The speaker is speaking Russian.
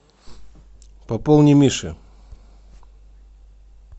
пополни мише